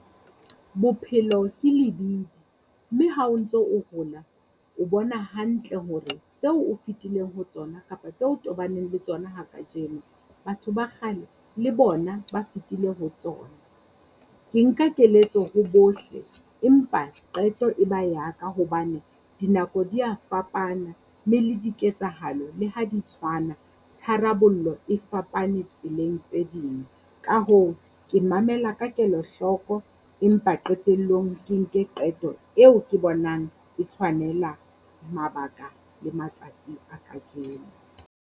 Bophelo ke lebidi mme ha o ntso hola, O bona hantle hore tseo o fetileng ho tsona kapa tse o tobaneng le tsona ha kajeno, batho ba kgale le bona ba fetile ho tsona. Ke nka keletso ho bohle, empa qeto e ba ya ka hobane dinako dia fapana, mme le di ketsahalo le ha di tshwana, tharabollo e fapane tseleng tse ding. Ka hoo, ke mamela ka kelohloko empa qetelllong ke nke qeto eo ke bonang e tshwanela mabaka le matsatsi a kajeno.